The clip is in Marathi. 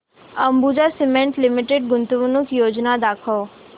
अंबुजा सीमेंट लिमिटेड गुंतवणूक योजना दाखव